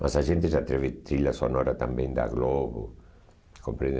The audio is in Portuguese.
Mas a gente já teve trilha sonora também da Globo, compreende?